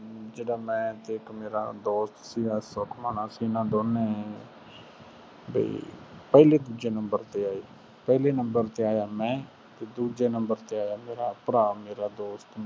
ਜਿਹੜਾ ਮੈਂ ਅਤੇ ਇੱਕ ਮੇਰਾ ਦੋਸਤ ਸੀਗਾ ਸੁਖਮਨ, ਅਸੀਂ ਨਾ ਦੋਨੇ ਬਈ ਪਹਿਲੇ ਦੂਜੇ number ਤੇ ਆਏ ਸੀ। ਪਹਿਲੇ number ਤੇ ਆਇਆ ਮੈਂ ਅਤੇ ਦੂਜੇ number ਤੇ ਆਇਆ ਮੇਰਾ ਭਰਾ, ਮੇਰਾ ਦੋਸਤ